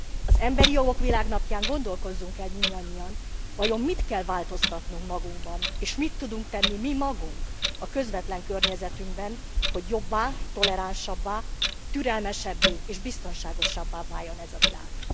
Az emberi jogok világnapján gondolkozzunk el mindannyian, vajon mit kell változtatnunk magunkban, és mit tudunk tenni mi magunk a közvetlen környezetünkben, hogy jobbá, toleránsabbá, türelmesebbé és biztonságosabbá váljon ez a világ.